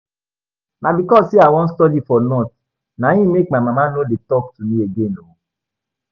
Na because say I wan stay for North na im make my mama no dey talk to me again oo